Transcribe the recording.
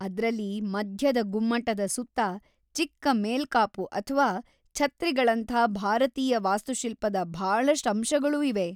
ಅದ್ರಲ್ಲಿ ಮಧ್ಯದ ಗುಮ್ಮಟದ ಸುತ್ತ ಚಿಕ್ಕ ಮೇಲ್ಕಾಪು ಅಥ್ವಾ ಛತ್ರಿಗಳಂಥಾ ಭಾರತೀಯ ವಾಸ್ತುಶಿಲ್ಪದ ಭಾಳಷ್ಟ್ ಅಂಶಗಳೂ ಇವೆ.